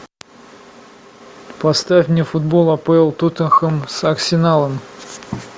поставь мне футбол апл тоттенхэм с арсеналом